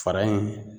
Fara in